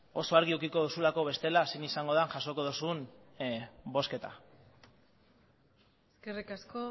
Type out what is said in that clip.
oso argi edukiko duzulako bestela zein izango dan jasoko dozun bozketa eskerrik asko